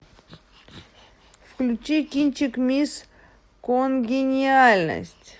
включи кинчик мисс конгениальность